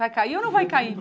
Vai cair ou não vai cair?